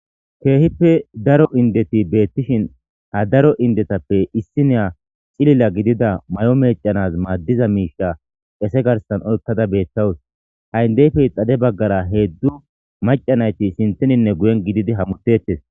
keehippe daro indeti beettishin ha daro indetappe issi neya xilila gidida may7o meecanaz maaddiza miisha qese garsan oykkada beettawus ha7indeyfey xade baggara heeddu macanayti sintininne guyen gididi hamutettes